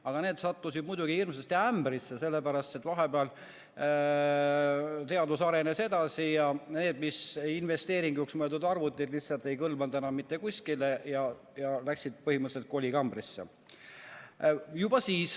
Aga nad sattusid muidugi hirmsasti ämbrisse, sellepärast et vahepeal teadus arenes edasi ja need investeeringuks mõeldud arvutid lihtsalt ei kõlvanud enam mitte kuskile ja läksid põhimõtteliselt kolikambrisse.